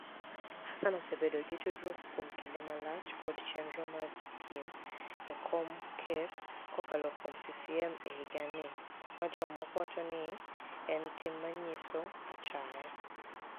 HaSaani osebedo gi tudruok kuom kinide malach kod cheniro mar dhi piem e kom ker kokalo kuom CCM e higanii, ma jomoko wacho nii eni tim ma niyiso achaya.